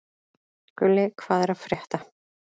Gulli, hvað er að frétta?